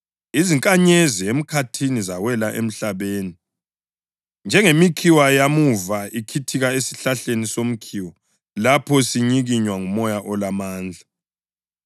izinkanyezi emkhathini zawela emhlabeni njengemikhiwa yamuva ikhithika esihlahleni somkhiwa lapho sinyikinywa ngumoya olamandla.